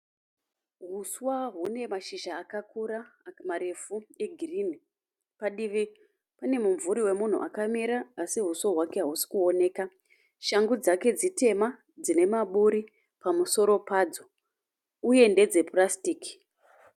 Huswa hune mashizha akakura, marefu egirinhi. Padivi panemunvuri wemunhu akamira asi huso hwake hausikuoneka. Shangu dzake dzitema dzine maburi pamusoro padzo, uye ndedzepurasitiki.